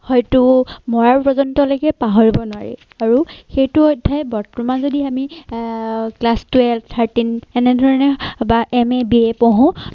হয়তো মৰাৰ পৰ্যন্ত লৈকে পাহৰিব নোৱাৰি আৰু সেইটো অধ্যায় বৰ্তমান যদি আমি আহ class twelve thirteen এনেধৰণে বা MA, BA পঢ়ো।